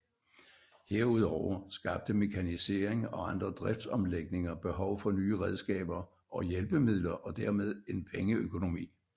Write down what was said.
Herudover skabte mekanisering og andre driftsomlægninger behov for nye redskaber og hjælpemidler og dermed en pengeøkonomi